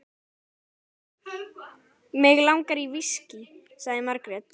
Mig langar í viskí, sagði Margrét.